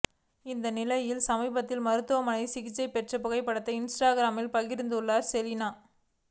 இந்நிலையில் சமீபத்தில் மருத்துவமனையில் சிகிச்சை பெற்ற புகைப்படத்தை இன்ஸ்டாகிராமில் பகிர்ந்துள்ளார் செலினா